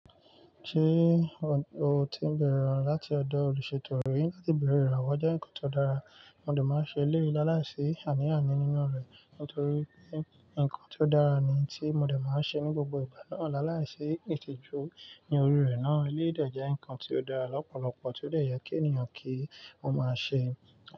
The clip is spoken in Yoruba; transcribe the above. Ṣé o ti bẹ̀rẹ̀ láti ọ̀dọ̀ olùṣètò rí láti bẹ̀rẹ̀ ìrànwọ́ jẹ́ nǹkan tó dára, mo lè máa ṣe léèéláàláìsí àní àní nínú rẹ̀. Nítorí pé nǹkan tí ó dára ni tí mo dẹ̀ máa ṣe ní gbogbo ìgbà náà. Láàláìsí ìtìjú ní orí rẹ̀ náà eléyìí jẹ́ nǹkan tí ó dára lọ́pọ̀lọpọ̀ tí ó lè yẹ kí ènìyàn kí ó máa ṣe.